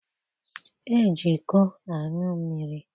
Eji iko aṅụ mmiri.